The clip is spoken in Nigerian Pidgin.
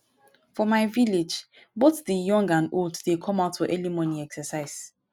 for my village both the young and old dey come out for early morning exercise